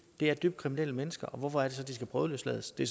det er dybt kriminelle mennesker og hvorfor er det så de skal prøveløslades det